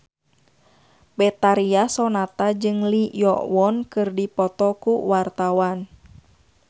Betharia Sonata jeung Lee Yo Won keur dipoto ku wartawan